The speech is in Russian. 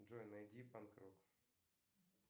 джой найди панк рок